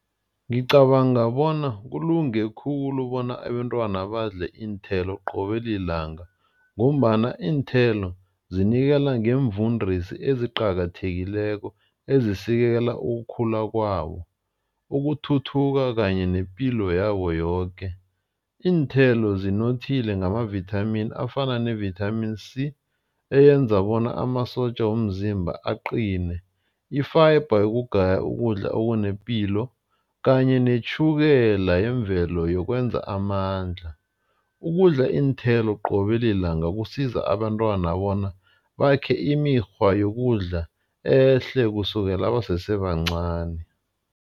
Ngicabanga bona kulunge khulu bona abentwana badle iinthelo qobe lilanga. Ngombana iinthelo zinikela ngeemvundisi eziqakathekileko ezisekela ukukhula kwabo, ukuthuthuka kanye nepilo yabo yoke. Iinthelo zinothile ngamavithamimi afana nevithamini C eyenza bona amasotja womzimba aqine. I-fiber yokugaya ukudla okunepilo kanye netjhukela yemvelo yokwenza amandla. Ukudla iinthelo qobe lilanga kusiza abantwana bona bakhe imikghwa yokudla ehle kusukela basesebancani.